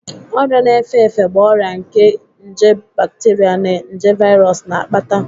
Ọrịa na-efe efe bụ ọrịa nke nje bateria na nje viros na-akpata.